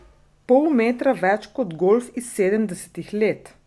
Pol metra več kot golf iz sedemdesetih let!